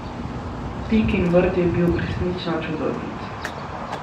Pikin vrt je bil resnično čudovit.